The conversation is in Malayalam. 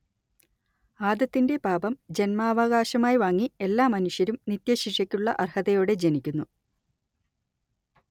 ആദത്തിന്റെ പാപം ജന്മാവകാശമായി വാങ്ങി എല്ലാ മനുഷ്യരും നിത്യശിക്ഷയ്ക്കുള്ള അർഹതയോടെ ജനിക്കുന്നു